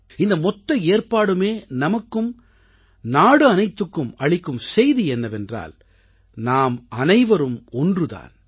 இந்த மொத்த ஏற்பாடுமே நமக்கும் நாடு அனைத்துக்கும் அளிக்கும் செய்தி என்னவென்றால் நாமனைவரும் ஒன்று தான்